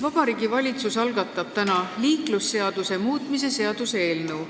Vabariigi Valitsus algatab täna liiklusseaduse muutmise seaduse eelnõu.